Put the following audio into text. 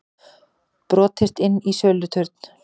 Brotist inn í söluturn